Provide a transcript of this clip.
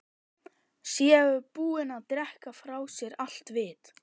Séu búin að drekka frá sér allt vit.